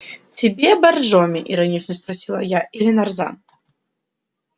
тебе боржоми иронично спросила я или нарзан